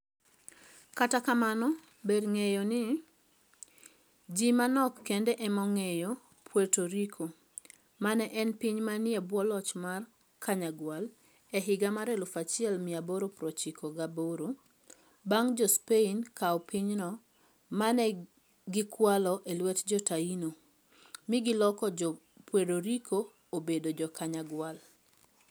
Kata kamano, ber ng'eyo ni, ji manok kende ema ong'eyo Puerto Rico, ma ne en piny manie bwo loch mar Kanyagwal e higa mar 1898 bang ' Jo - Spain kawo pinyno ma ne gikwalo e lwet Jo - Taino, mi giloko Jo - Puerto Rico obed Jo - Kanyagwal